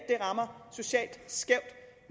rammer socialt skævt